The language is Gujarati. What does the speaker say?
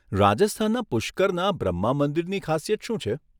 રાજસ્થાનના પુષ્કરના બ્રહ્મા મંદિરની ખાસિયત શું છે?